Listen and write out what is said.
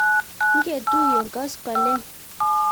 ngetuiye koskoleny